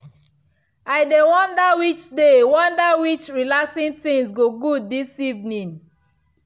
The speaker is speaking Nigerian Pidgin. i dey wonder which dey wonder which relaxing things go good this evening.